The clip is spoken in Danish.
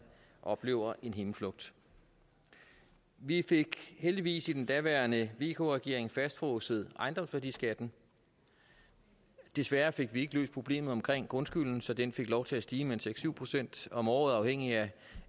oplever en himmelflugt vi fik heldigvis i den daværende vk regering fastfrosset ejendomsværdiskatten desværre fik vi ikke løst problemet omkring grundskylden så den fik lov til at stige med seks syv procent om året afhængigt